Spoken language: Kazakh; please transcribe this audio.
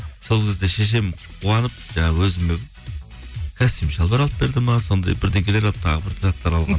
сол кезде шешем қуанып жаңағы өзіме костюм шалбар алып берді ме сондай алып тағы бір заттар алған